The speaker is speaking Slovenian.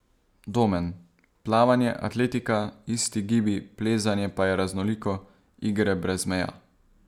Domen: 'Plavanje, atletika, isti gibi, plezanje pa je raznoliko, igre brez meja.